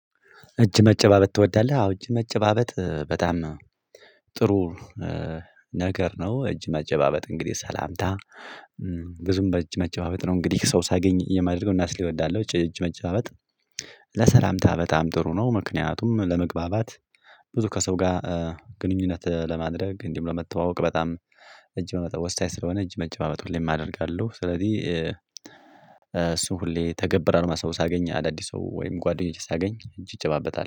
እጅ መጨባበጥ ትወዳለህ? አዎ እጅ መጨባበጥ በጣም ጥሩ ነገር ነው። እጅ መጨባበጭ እንግዲህ ሰላምታ ብዙም በእጅ መጨባበጥ ነው። እንግዲህ ሰው ሳገኝ የማደርገው እናስል እወዳለሁ። እጅ መጫበበጥ ለሰላምታ በጣም ጥሩ ነው። ምክንያቱም ለመግባባት ብዙ ከሰው ጋር ግንኙነት ለማድረግ እንዲሁ ለመተዋወቅ በጣም እጅ በመጠው ወሳይ ስለሆነ እጅ መጨባበጥ ሁሌም አደርጋለው። ስለዚህ እሱን ሁሌ እተገብራለው ሰው ሳገኝ አዳዲስ ሰው ወይም ጓደኞቼ ሳገኝ እንጂ እጨባበጣለው